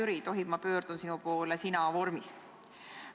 Hea Jüri, tohib, ma pöördun sinu poole sina-vormis?